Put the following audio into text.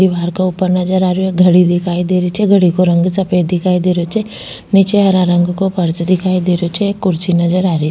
दिवार क ऊपर नजर आ रो घडी दिखाई दे रही छे घड़ी को रंग सफ़ेद दिखाई दे रही छे निचे हरा रंग को फर्स दिखाई दे रही छे कुर्सी नजर आ रही --